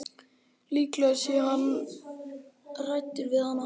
Líklega sé hann hræddur við hana.